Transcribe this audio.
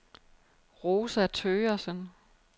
Rosa Thøgersen